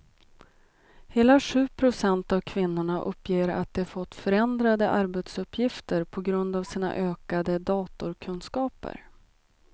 Hela sju procent av kvinnorna uppger att de fått förändrade arbetsuppgifter på grund av sina ökade datorkunskaper.